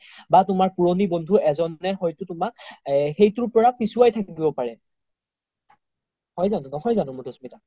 বা তুমাৰ পুৰনি বন্ধু এজনে হয়তো তুমাক সেইতোৰ পৰা পিছোৱাই থাকিব পাৰে নহয় জানো মাধুস্মিতা